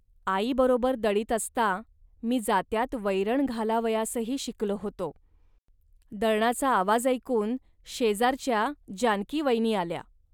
आईबरोबर दळीत असता मी जात्यात वैरण घालावयासही शिकलो होतो. दळणाचा आवाज ऐकून शेजारच्या जानकीवयनी आल्या